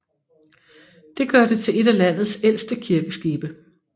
Det gør det til et af landets ældste kirkeskibe